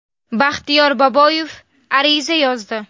Baxtiyor Boboyev ariza yozdi.